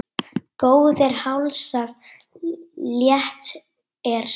Góðir hálsar, létt er sú!